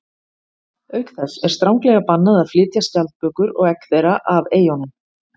Auk þess er stranglega bannað að flytja skjaldbökur og egg þeirra af eyjunum.